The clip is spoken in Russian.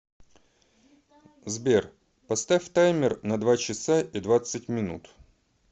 сбер поставь таймер на два часа и двадцать минут